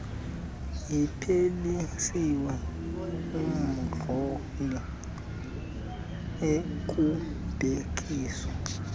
iphelisiwe umhloli ekubhekiswa